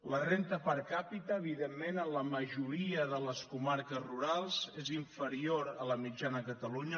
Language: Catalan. la renda per capita evidentment en la majoria de les comarques rurals és inferior a la mitjana a catalunya